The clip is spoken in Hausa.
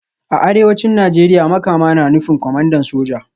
A Arewacin Najeriya Makama na nufin Kwamandan Soja